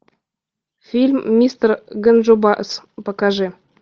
фильм мистер ганджубас покажи